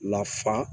Lafa